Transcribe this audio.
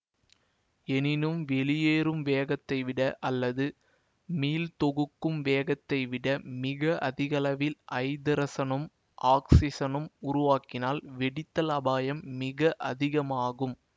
எனினும் வெளியேறும் வேகத்தை விட அல்லது மீள்தொகுக்கும் வேகத்தை விட மிக அதிகளவில் ஐதரசனும் ஒக்சிசனும் உருவாகினால் வெடித்தல் அபாயம் மிக அதிகமாகும்